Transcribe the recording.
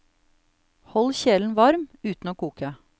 Hold kjelen varm, uten å koke.